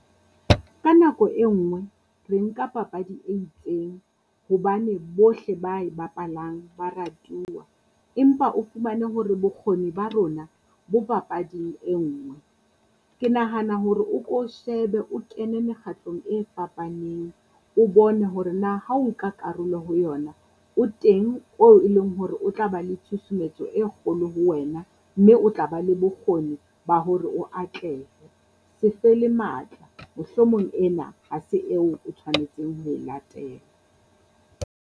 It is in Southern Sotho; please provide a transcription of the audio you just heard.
Ka nako e nngwe re nka papadi e itseng, hobane bohle ba e bapalang ba ratuwa. Empa o fumane hore bokgoni ba rona bo papading e nngwe. Ke nahana hore o ko shebe o kene mekgatlong e fapaneng, o bone hore na ha o ka karolo ho yona, o teng oo e leng hore o tla ba le tshusumetso e kgolo ho wena. Mme o tla ba le bokgoni ba hore o atlehe, se fele matla mohlomong ena ha se eo o tshwanetseng ho e latela.